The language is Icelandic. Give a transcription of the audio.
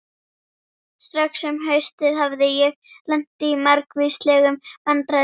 Strax um haustið hafði ég lent í margvíslegum vandræðum.